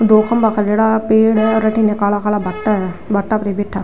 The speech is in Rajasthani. दो खम्भा छोड्योड़ा पेड़ है हेर अठीने काला काला भाटा है भाटा पर बैठा हा।